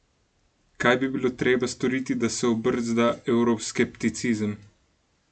Kaj bi bilo treba storiti, da se obrzda evroskepticizem?